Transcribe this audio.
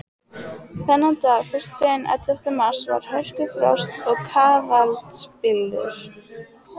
Þennan dag, föstudaginn ellefta mars, var hörkufrost og kafaldsbylur.